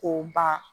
K'o ban